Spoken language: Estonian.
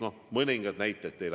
No mõningad näited teile.